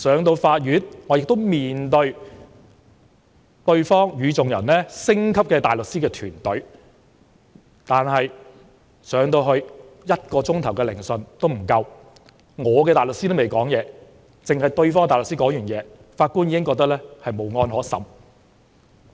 到法庭時，我也要面對對方星級的大律師團隊，但聆訊進行不足1小時，代表我的大律師尚未開口，對方的大律師發言後，法官已認為"無案可審"。